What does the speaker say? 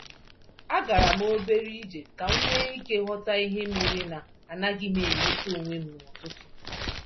Agaram obere ije kam nwé íke ghọta ihe méré na anaghịm enweta onwem n'ụtụtụ